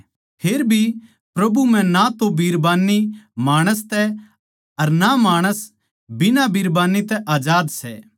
फेर भी प्रभु म्ह ना तो बिरबान्नी माणस तै अर ना माणस बिना बिरबान्नी तै आजाद सै